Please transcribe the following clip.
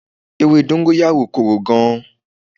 Ewé dọ́ńgóráyò korò gan.